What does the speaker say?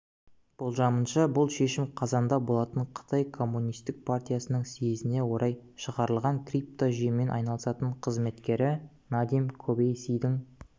болжамынша бұл шешім қазанда болатын қытай коммунистік партиясының съезіне орай шығарылған криптожүйемен айналысатын қызметкері надим кобеиссидің